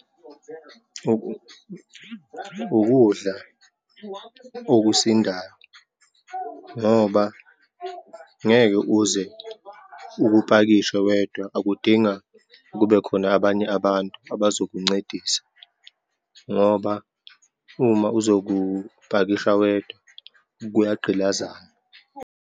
Ukudla okusindayo, ngoba ngeke uze ukupakishe wedwa, akudinga kubekhona abanye abantu abazokuncedisa, ngoba uma uzokupakisha wedwa kuyagqilazana.